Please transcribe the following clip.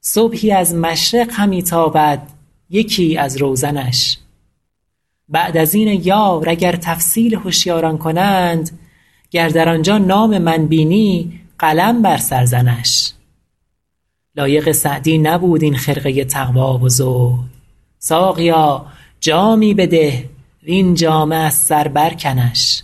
صبحی از مشرق همی تابد یکی از روزنش بعد از این ای یار اگر تفصیل هشیاران کنند گر در آنجا نام من بینی قلم بر سر زنش لایق سعدی نبود این خرقه تقوا و زهد ساقیا جامی بده وین جامه از سر برکنش